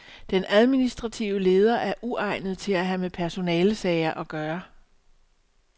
Den administrative leder er uegnet til at have med personalesager at gøre.